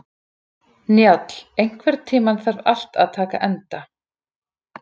Njáll, einhvern tímann þarf allt að taka enda.